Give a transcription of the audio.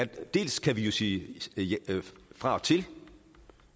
dels kan vi jo sige fra og til